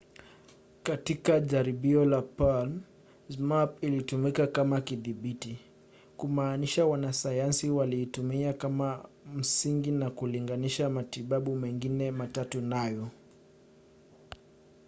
katika jaribio la palm zmapp ilitumika kama kidhibiti kumaanisha wanasayansi waliitumia kama msingi na kulinganisha matibabu mengine matatu nayo